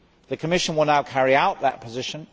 The Commission will now carry out that position.